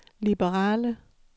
liberale